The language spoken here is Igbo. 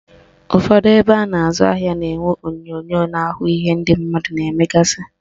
Ụfọdụ ebe a na-azụ ahịa na-enwe onyonyo na-ahụ ihe ndị mmadụ na-emegasị